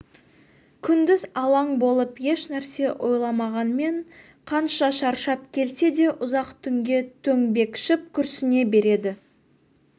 күндіз алаң болып еш нәрсе ойламағанмен қанша шаршап келсе де ұзақ түнге төңбекшіп күрсіне береді